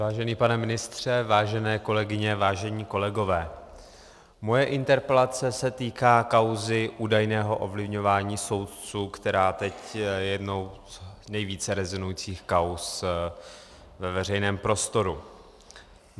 Vážený pane ministře, vážené kolegyně, vážení kolegové, moje interpelace se týká kauzy údajného ovlivňování soudců, která je teď jednou z nejvíce rezonujících kauz ve veřejném prostoru.